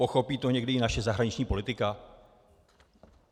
Pochopí to někdy i naše zahraniční politika?